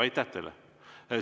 Aitäh teile!